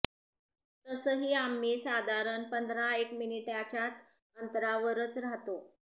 तसही आम्ही साधारण पंधरा एक मिनिटांच्याच अंतरावरच राहतो